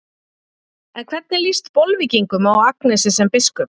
En hvernig líst Bolvíkingum á Agnesi sem biskup?